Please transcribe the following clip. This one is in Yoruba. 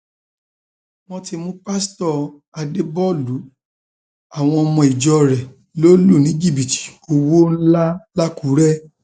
wọn ti mú pásítọ àdèbọlù àwọn ọmọ ìjọ rẹ lọ lù ní jìbìtì owó owó ńlá lákùrẹ